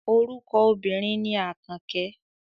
Orúkọ obìnrin ni Àkànkẹ́.